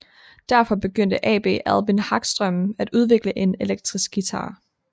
Derfor begyndte AB Albin Hagström at udvikle en elektrisk guitar